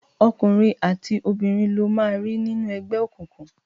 Ọkùnrin àti obìnrin lo máa rí nínú ẹgbẹ́ òkùnkùn.